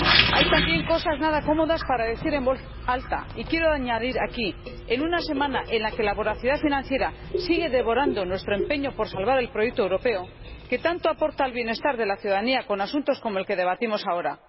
Hay también cosas nada cómodas para decir en voz alta y añadir aquí en una semana en la que la voracidad financiera sigue devorando nuestro empeño por salvar el proyecto europeo, que tanto aporta al bienestar de la ciudadanía con asuntos como el que debatimos ahora.